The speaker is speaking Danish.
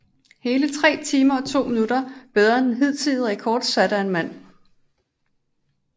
Hele 3 timer 2 min bedre end den hidtidige rekord sat af en mand